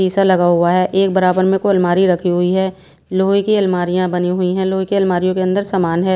सीसा लगा हुआ है एक बराबर में कोई अलमारी रखी हुई है लोहे की अलमारियां बनी हुई हैं लोहे के अलमारियों के अंदर सामान है।